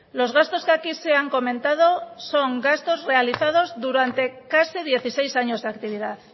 los gastos que aquí se han comentado son gastos realizados durante casi dieciséis años de actividad